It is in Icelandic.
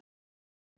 Yngstu hraun